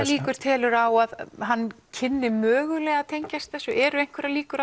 líkur telurðu á að hann kynni mögulega að tengjast þessu eru einhverjar líkur